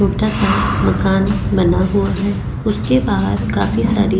छोटा सा मकान बना हुआ है उसके बाहर काफी सारी --